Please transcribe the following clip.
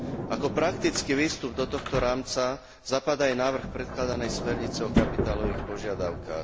Ako praktický výstup do tohto rámca zapadá aj návrh predkladanej smernice o kapitálových požiadavkách.